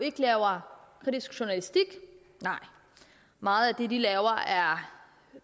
ikke laver kritisk journalistik nej meget af det de laver er